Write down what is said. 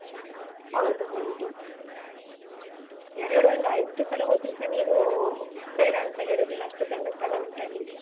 ಹೌದು ಹೌದು. ಎರಡು ಅಲ್ಲ ಎಷ್ಟು ಸಲ ಹೋದ್ರುಸ ನೀನೂ ಬೇಡ ಅಂತ ಹೇಳುದಿಲ್ಲ, ಅಷ್ಟು ಚಂದ ಸ್ಥಳ ಉಂಟಲ್ಲಿ.